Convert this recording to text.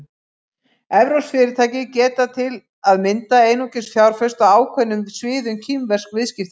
Evrópsk fyrirtæki geta til að mynda einungis fjárfest á ákveðnum sviðum kínversks viðskiptalífs.